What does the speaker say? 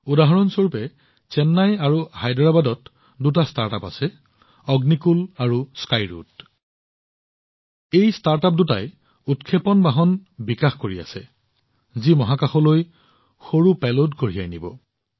উদাহৰণ স্বৰূপে চেন্নাই আৰু হায়দৰাবাদৰ দুটা ষ্টাৰ্টআপ আছে অগ্নিকুল আৰু স্কাইৰুট এই ষ্টাৰ্টআপবোৰে উৎক্ষেপণ বাহন বিকশিত কৰি আছে যি মহাকাশলৈ সৰু পেলোড কঢ়িয়াই নিব